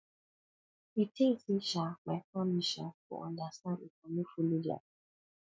you tink sey um my family um go understand if i no folo their plan